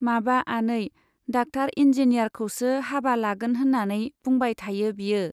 माबा आनै, डाक्टार-इन्जिनियारखौसो हाबा लागोन होन्नानै बुंबाय थायो बियो।